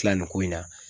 Tila nin ko in na